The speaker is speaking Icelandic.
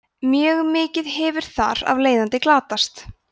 mjög mikið hefur þar af leiðandi glatast